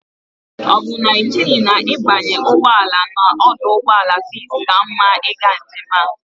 O bu na icheghi na ibanye ugboala na oduugboala peace ka mma iga njem a?